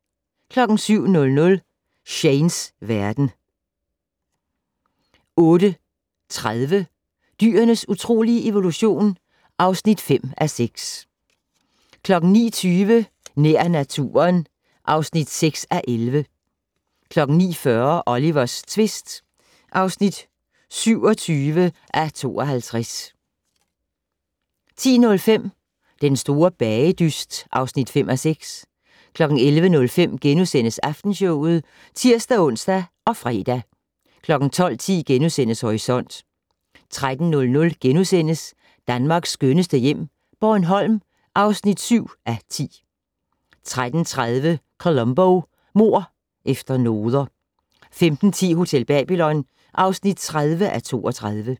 07:00: Shanes verden 08:30: Dyrenes utrolige evolution (5:6) 09:20: Nær naturen (6:11) 09:40: Olivers tvist (27:52) 10:05: Den store bagedyst (5:6) 11:05: Aftenshowet *(tir-ons og fre) 12:10: Horisont * 13:00: Danmarks skønneste hjem - Bornholm (7:10)* 13:30: Columbo: Mord efter noder 15:10: Hotel Babylon (30:32)